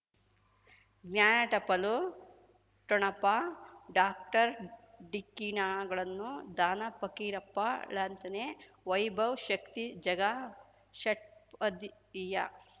ಜ್ಞಾನ ಟಪಾಲು ಠೊಣಪ ಡಾಕ್ಟರ್ ಢಿಕ್ಕಿ ಣಗಳನು ಧನ ಫಕೀರಪ್ಪ ಳಂತಾನೆ ವೈಭವ್ ಶಕ್ತಿ ಝಗಾ ಷಟ್ಪದಿಯ